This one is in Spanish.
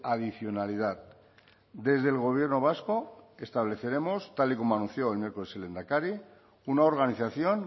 adicionalidad desde el gobierno vasco estableceremos tal y como anunció el miércoles el lehendakari una organización